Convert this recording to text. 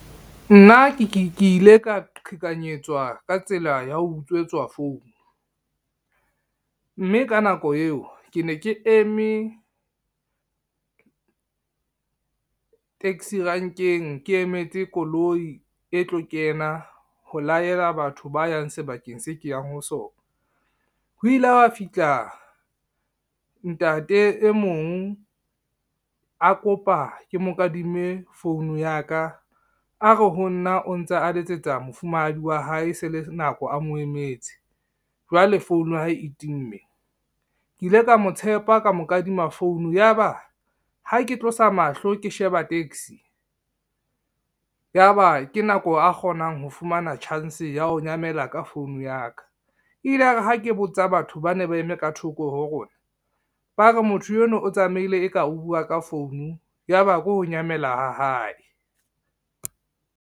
Nna ke ile ka qhekanyetswa ka tsela ya ho utswetswa founu, mme ka nako eo ke ne ke eme, taxi renkeng ke emetse koloi e tlo kena ho laela batho ba yang sebakeng se ke yang ho sona. Ho ile ha fihla ntate e mong a kopa ke mo kadime founu ya ka, a re honna o ntse a letsetsa mofumahadi wa hae se le nako a mo emetse, jwale founu ya hae e timme. Ke ile ka mo tshepa ka mo kadima founu ya ba ha ke tlosa mahlo ke sheba taxi, ya ba ke nako a kgonang ho fumana chance ya ho nyamela ka founu ya ka, e ile ya re ha ke botsa batho ba ne ba eme ka thoko ho rona, ba re motho eno o tsamaile e ka o bua ka founu, ya ba ke ho nyamela ha hae.